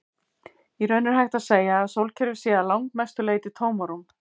Í raun er hægt að segja að sólkerfið sé að langmestu leyti tómarúm.